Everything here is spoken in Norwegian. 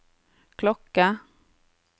klokke